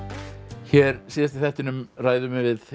hér síðast í þættinum ræðum við við